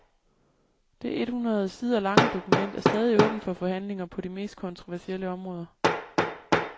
Det et hundrede sider lange dokument er stadig åbent for forhandlinger på de mest kontroversielle områder.